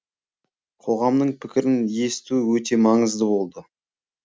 қоғамның пікірін есту өте маңызды болды